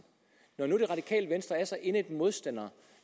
når nu det radikale venstre er så indædt modstandere